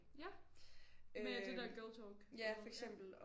Ja med det der girltalk og noget ja